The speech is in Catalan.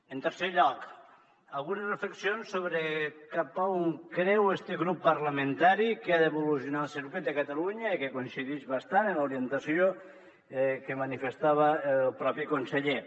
en tercer lloc algunes reflexions sobre cap a on creu este grup parlamentari que ha d’evolucionar el circuit de catalunya i que coincidix bastant amb l’orientació que manifestava el propi conseller